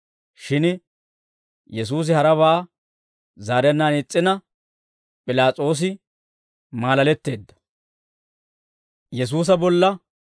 Shin Yesuusi harabaa zaarennaan is's'ina, P'ilaas'oosi maalaletteedda.